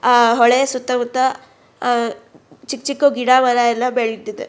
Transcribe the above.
ಆ ಹೊಳೆ ಸುತ್ತ ಮುತ್ತ ಚಿಕ್ಕ್ ಚಿಕ್ಕ್ ಅ ಗಿಡ ಮರ ಎಲ್ಲ ಬೆಳ್ದಿದೆ.